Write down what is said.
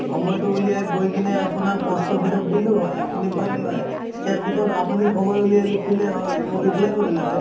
সময়টো উলিয়াই গৈ কিনে আপোনাক post office ত দিলো হয়, আপুনি পালে হয় । ইয়াৰ পিছত আপুনি সময় উলিয়াই লিখিলে হয়, মই reply কৰিলোঁ হয়